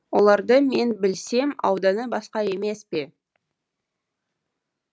олардың мен білсем ауданы басқа емес пе